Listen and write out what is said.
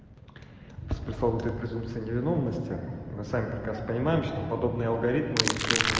пресловутый презумпция невиновности на сами прекрасно понимаем что подобное алгоритмы